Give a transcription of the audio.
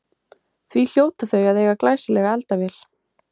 Því hljóta þau að eiga glæsilega eldavél.